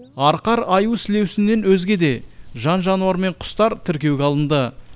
арқар аю сілеусіннен өзге де жан жануар мен құстар тіркеуге алынды